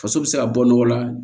Faso bɛ se ka bɔ nɔgɔ la